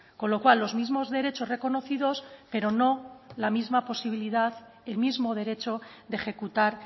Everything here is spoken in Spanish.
con lo cual los mismos derechos reconocidos pero no la misma posibilidad el mismo derecho de ejecutar